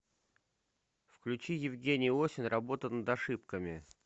включи евгений осин работа над ошибками